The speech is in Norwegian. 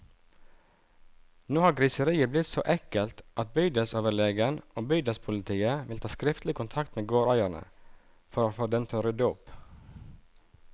Nå har griseriet blitt så ekkelt at bydelsoverlegen og bydelspolitiet vil ta skriftlig kontakt med gårdeierne, for å få dem til å rydde opp.